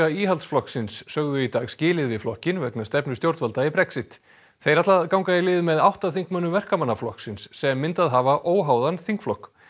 Íhaldsflokksins sögðu í dag skilið við flokkinn vegna stefnu stjórnvalda í Brexit þeir ætla að ganga í lið með átta þingmönnum Verkamannaflokksins sem myndað hafa óháðan þingflokk